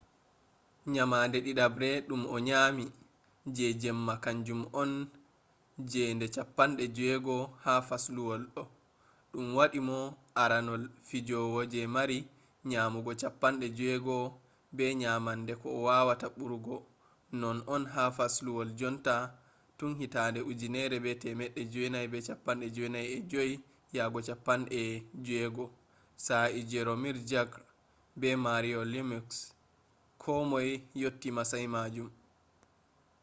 nyamande didabre dum o nyami je jemma kanjum on je nde 60 ha fasluwol ɗo ɗum waɗi mo aranol fijowo je mari nyamugo 60 be nyamande ko wawata ɓurugo non on ha fasluwol jonta tun 1995-96 sa'e jaromir jagr be mario lemieux ko moy yotti masayi majum